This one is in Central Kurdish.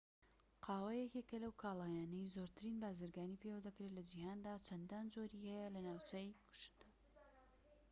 قاوە یەکێکە لەو کاڵایانەی زۆرترین بازرگانی پێوە دەکرێت لە جیهاندا چەندان جۆری هەیە لە ناوچەکەی خۆشتدا